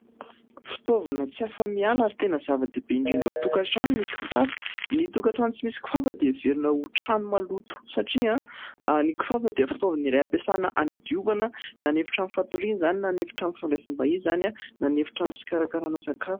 Fitaovana tsy afa-miala ary tena zava-dehibe indrindra ao an-tokantrano ny kifafa. Ny tokantrano tsy misy kifafa dia heverina ho trano maloto, satria ny kifafa dia fitaovana iray hampiasana hanadiovana : na ny efitrano fatoriana izany, na ny efitrano fandraisam-bahiny izany, na ny efitrano fikarakarana sakafo.